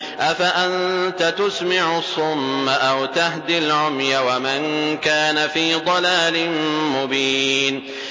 أَفَأَنتَ تُسْمِعُ الصُّمَّ أَوْ تَهْدِي الْعُمْيَ وَمَن كَانَ فِي ضَلَالٍ مُّبِينٍ